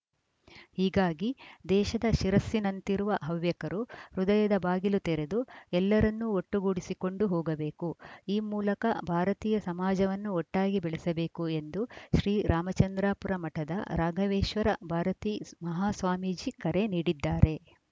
ಹೀಗಾಗಿ ದೇಶದ ಶಿರಸ್ಸಿನಂತಿರುವ ಹವ್ಯಕರು ಹೃದಯದ ಬಾಗಿಲು ತೆರೆದು ಎಲ್ಲರನ್ನೂ ಒಟ್ಟುಗೂಡಿಸಿಕೊಂಡು ಹೋಗಬೇಕು ಈ ಮೂಲಕ ಭಾರತೀಯ ಸಮಾಜವನ್ನು ಒಟ್ಟಾಗಿ ಬೆಳೆಸಬೇಕು ಎಂದು ಶ್ರೀ ರಾಮಚಂದ್ರಾಪುರ ಮಠದ ರಾಘವೇಶ್ವರ ಭಾರತೀ ಮಹಾಸ್ವಾಮೀಜಿ ಕರೆ ನೀಡಿದ್ದಾರೆ